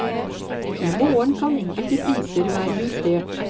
I morgen kan enkelte priser være justert.